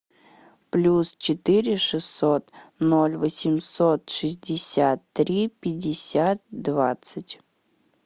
плюс четыре шестьсот ноль восемьсот шестьдесят три пятьдесят двадцать